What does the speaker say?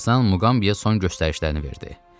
Tarzan Muqambiyə son göstərişlərini verdi.